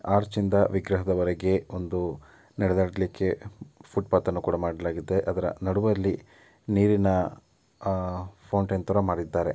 ಆರ್ಚ್ಯಿಂದ ವಿಗ್ರಹದವರೆಗೆ ಒಂದು ನಡೆದಾಡಲಿಕ್ಕೆ ಫುಟ್ ಪಾತ್ ನ್ನು ಕೂಡ ಮಾಡಲಾಗಿದೆ. ಅದರ ನಡುವಲ್ಲಿ ನೀರಿನ ಫೌಂಟೇನ್ ಥರ ಮಾಡಿದ್ದಾರೆ.